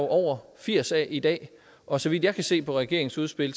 over firs af i dag og så vidt jeg kan se på regeringens udspil